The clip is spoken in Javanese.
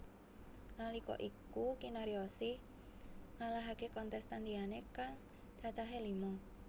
Nalika iku Kinaryosih ngalahaké kontestan liyané kang cacahé lima